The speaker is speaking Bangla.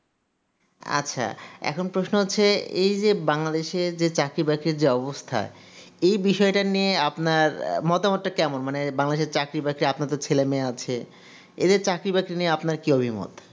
আচ্ছা এখন প্রশ্ন হচ্ছে এই যে bangladesh এর যে চাকরি বাকরি যে অবস্থা এই বিশয়টা নিয়ে আপনার মতামত টা কেমন মানে bangladesh র চাকরি বাকরি আপনার তো ছেলে মেয়ে আচ্ছা এদের চাকরি বাকরি নিয়ে আপনার কি অভিমত